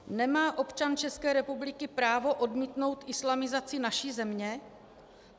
- nemá občan České republiky právo odmítnout islamizaci naší země?